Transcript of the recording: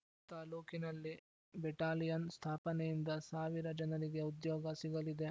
ತಾಲೂಕಿನಲ್ಲಿ ಬೆಟಾಲಿಯನ್‌ ಸ್ಥಾಪನೆಯಿಂದ ಸಾವಿರ ಜನರಿಗೆ ಉದ್ಯೋಗ ಸಿಗಲಿದೆ